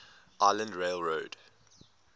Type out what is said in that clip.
island rail road